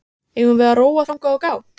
Eigum við að róa þangað og gá?